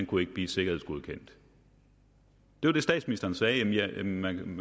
kunne blive sikkerhedsgodkendt det var det statsministeren sagde jamen man kan